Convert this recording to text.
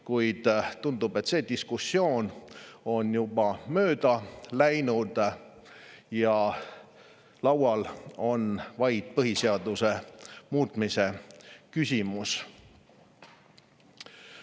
Kuid tundub, et see diskussioon on juba mööda läinud ja laual on vaid põhiseaduse muutmise küsimus.